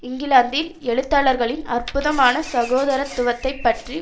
இங்கிலாந்தில் எழுத்தாளர்களின் அற்புதமான சகோதரத்துவத்தை பற்றி